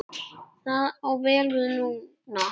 Það á vel við núna.